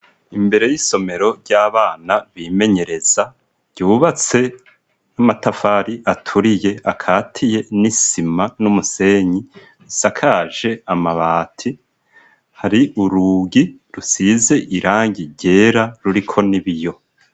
Imbere y'isomero ry'abana bimenyereza ryubatse n'amatafari aturiye akatiye n'isima n'umusenyi isakaje amabati, hari urugi rusize irangi ryera ruriko n'ibiyo.